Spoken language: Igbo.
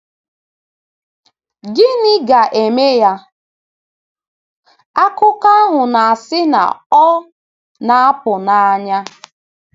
Gịnị ga-eme ya? — Akụkọ ahụ na-asị na ọ “ na-apụ n’anya. ”